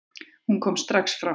Hún kom strax fram.